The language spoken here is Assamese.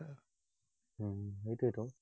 হম সেইটোৱেইতো।